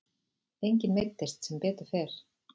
Enginn meiddist sem betur fer.